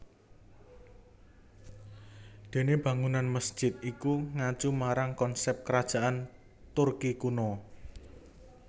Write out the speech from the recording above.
Dene bangunan masjid iku ngacu marang konsep Kerajaan Turki kuno